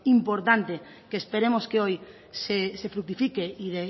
importante que esperemos que hoy se fructifique y